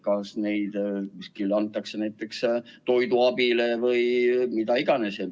Kas neid antakse näiteks toiduabile või kuhu iganes?